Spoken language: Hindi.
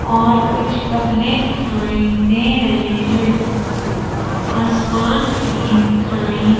और कुछ गपले दिखाई दे रहे हैं आसमान भी दिखाई --